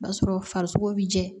O b'a sɔrɔ farisoko bɛ jɛ